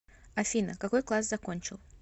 афина какой класс закончил